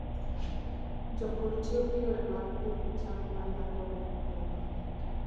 Jopur tiyo gi yore mag pidh cham ma nyago olemo e yo maber.